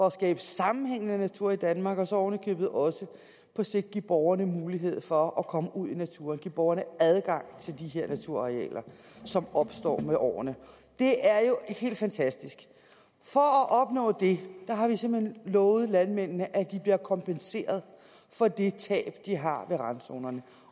at skabe sammenhængende natur i danmark og så ovenikøbet også på sigt give borgerne mulighed for at komme ud i naturen give borgerne adgang til de her naturarealer som opstår med årene det er jo helt fantastisk for at opnå det har vi simpelt hen lovet landmændene at de bliver kompenseret for det tab de har ved randzonerne